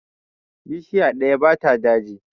Bishiya ɗaya ba ta daji.